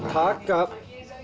taka